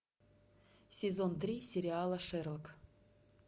сезон три сериала шерлок